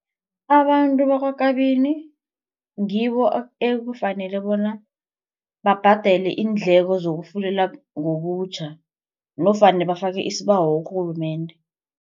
Abantu bakwaKabini ngibo ekufanele bona babhadele iindleko zokufundela ngobutjha nofana bafake isibawo kurhulumende.